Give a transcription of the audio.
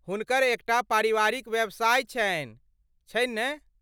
हुनकर एक टा पारिवारिक व्यवसाय छनि, छनि ने?